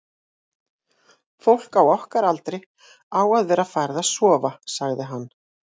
fólk á okkar aldri á að vera farið að sofa, sagði hann.